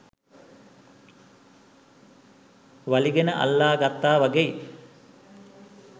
වලිගෙන අල්ලා ගත්තා වගෙයි.